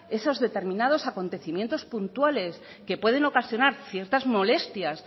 esos determinados acontecimientos puntuales que pueden ocasionar ciertas molestias